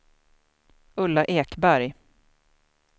Ulla Ekberg